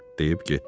deyib getdi.